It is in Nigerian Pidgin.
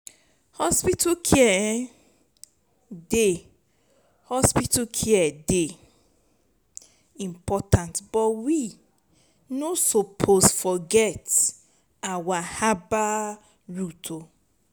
hospital care um dey hospital care dey important but we no suppose forget our herbal roots o.